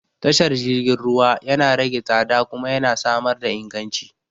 Tashar jirgin ruwa yana rage tsada kuma yana samar da inganci.